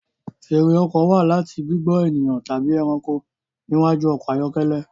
Fèèrè ọkọ̀ wá láti gbigbọn ènìyàn tàbí ẹranko níwájú ọkọ ayọkẹlẹ